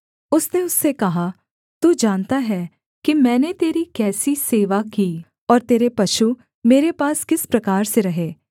उसने उससे कहा तू जानता है कि मैंने तेरी कैसी सेवा की और तेरे पशु मेरे पास किस प्रकार से रहे